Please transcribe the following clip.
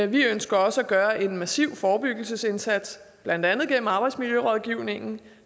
vi ønsker også at gøre en massiv forebyggelsesindsats blandt andet gennem arbejdsmiljørådgivningen